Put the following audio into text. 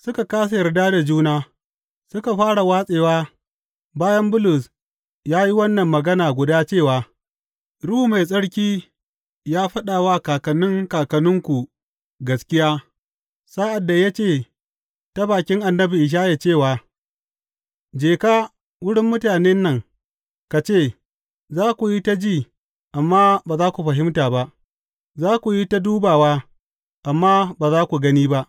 Suka kāsa yarda da juna suka fara watsewa bayan Bulus ya yi wannan magana guda cewa, Ruhu Mai Tsarki ya faɗa wa kakannin kakanninku gaskiya sa’ad da ya ce ta bakin annabi Ishaya cewa, Je ka wurin mutanen nan ka ce, Za ku yi ta ji amma ba za ku fahimta ba; za ku yi ta dubawa, amma ba za ku gani ba.